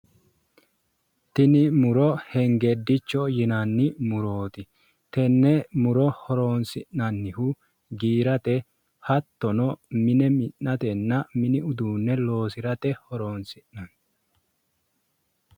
tini muro hengedicho yinanni murooti tenne muro horonsi'nannihu giirate mine minate hattono mini uduunicho leoosate horonsi'nanni